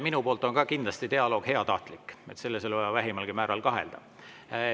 Minu poolt on ka dialoog kindlasti heatahtlik, selles ei ole vaja vähimalgi määral kahelda.